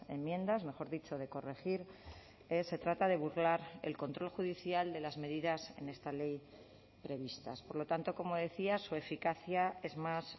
enmiendas mejor dicho de corregir se trata de burlar el control judicial de las medidas en esta ley previstas por lo tanto como decía su eficacia es más